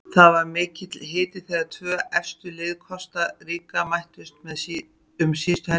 Það var mikill hiti þegar tvö efstu lið Kosta Ríka mættust um síðustu helgi.